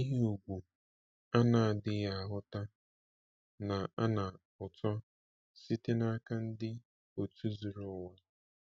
Ihe ùgwù a na-adịghị ahụta na-ana ụtọ site n’aka ndị otu zuru ụwa.